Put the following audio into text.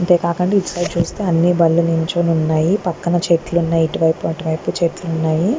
అంతే కాకుండా ఇటు సైడ్ చూస్తుంటే అన్ని బళ్ళు నిల్చొని ఉన్నాయి పక్కన చెట్లు ఉన్నాయి అటువైపు ఇటువైపు చెట్లు ఉన్నాయి.